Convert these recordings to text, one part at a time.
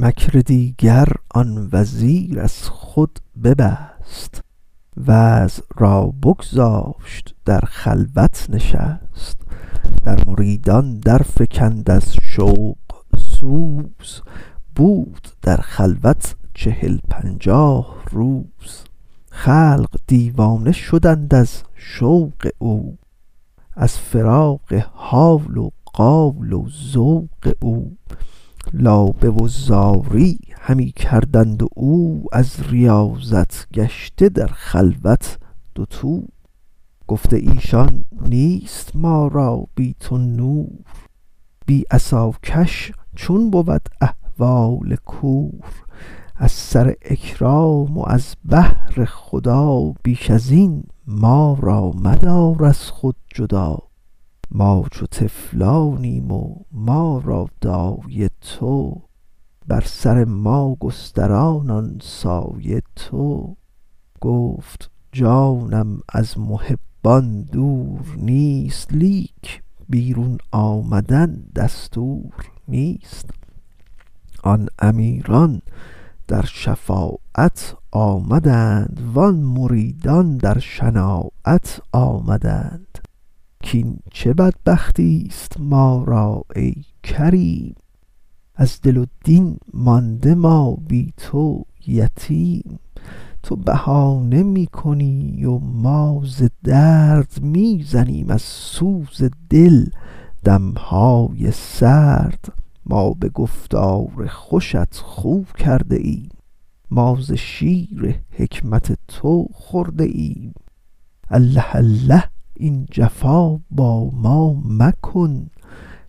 مکر دیگر آن وزیر از خود ببست وعظ را بگذاشت و در خلوت نشست در مریدان در فکند از شوق سوز بود در خلوت چهل پنجاه روز خلق دیوانه شدند از شوق او از فراق حال و قال و ذوق او لابه و زاری همی کردند و او از ریاضت گشته در خلوت دوتو گفته ایشان نیست ما را بی تو نور بی عصاکش چون بود احوال کور از سر اکرام و از بهر خدا بیش ازین ما را مدار از خود جدا ما چو طفلانیم و ما را دایه تو بر سر ما گستران آن سایه تو گفت جانم از محبان دور نیست لیک بیرون آمدن دستور نیست آن امیران در شفاعت آمدند وان مریدان در شناعت آمدند کین چه بدبختیست ما را ای کریم از دل و دین مانده ما بی تو یتیم تو بهانه می کنی و ما ز درد می زنیم از سوز دل دمهای سرد ما به گفتار خوشت خو کرده ایم ما ز شیر حکمت تو خورده ایم الله الله این جفا با ما مکن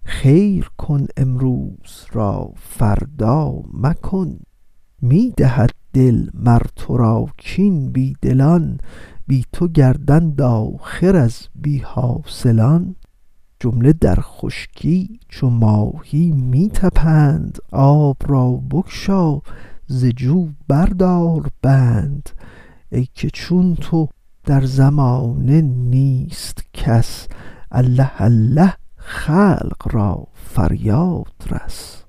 خیر کن امروز را فردا مکن می دهد دل مر ترا کین بی دلان بی تو گردند آخر از بی حاصلان جمله در خشکی چو ماهی می طپند آب را بگشا ز جو بر دار بند ای که چون تو در زمانه نیست کس الله الله خلق را فریاد رس